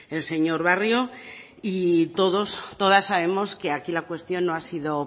el señor barrio y todos todas sabemos que aquí la cuestión no ha sido